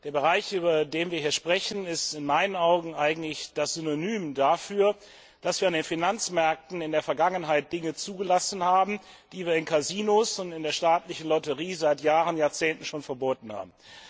Der Bereich, über den wir hier sprechen, ist in meinen Augen eigentlich das Synonym dafür, dass wir an den Finanzmärkten in der Vergangenheit Dinge zugelassen haben, die wir in Casinos und in der staatlichen Lotterie schon seit Jahren und Jahrzehnten verboten haben.